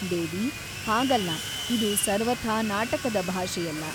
ದೇವಿ ಹಾಗಲ್ಲ ಇದು ಸರ್ವಥಾ ನಾಟಕದ ಭಾಷೆಯಲ್ಲ.